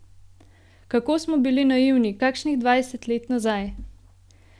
Kako smo bili naivni kakšnih dvajset let nazaj!